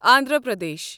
Andhra Pradesh